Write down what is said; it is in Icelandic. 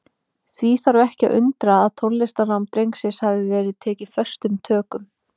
Því þarf ekki að undra að tónlistarnám drengsins hafi verið tekið föstum tökum.